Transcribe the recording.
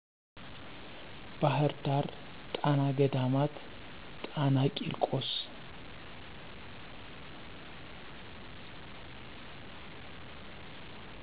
ባህር ዳር ጣና ገዳማት ጣና ቄርቆስ